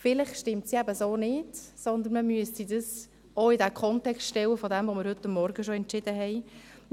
Vielleicht stimmt das so nicht, sondern man müsste es auch in den Kontext dessen stellen, was wir heute Morgen bereits entschieden haben.